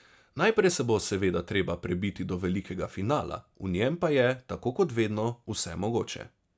Najprej se bo seveda treba prebiti do velikega finala, v njem pa je, tako kot vedno, vse mogoče.